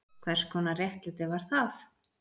Hvers konar réttlæti var það?